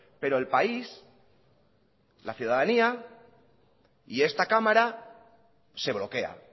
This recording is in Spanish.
pero el país la ciudadanía y esta cámara se bloquea